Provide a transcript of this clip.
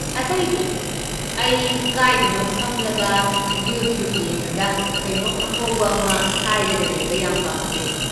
ꯑꯇꯩꯗꯤ, ꯑꯩ ꯀꯗꯥꯏꯗꯅꯣꯝ ꯐꯝꯂꯒ ꯌꯨꯇ꯭ꯌꯨꯕ ꯌꯦꯡꯉꯒ ꯀꯩꯅꯣꯝ ꯑꯉꯧꯕ ꯑꯃ ꯁꯥꯏꯔꯒ ꯂꯩꯕ ꯌꯥꯝ ꯄꯥꯝꯖꯩ꯫